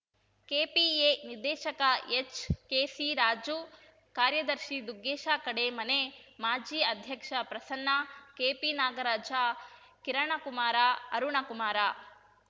kPa ನಿರ್ದೇಶಕ HKC Raju ಕಾರ್ಯದರ್ಶಿ ದುಗ್ಗೇಶ ಕಡೇಮನೆ ಮಾಜಿ ಅಧ್ಯಕ್ಷ ಪ್ರಸನ್ನ ಕೆಪಿ ನಾಗರಾಜ ಕಿರಣಕುಮಾರ ಅರುಣಕುಮಾರ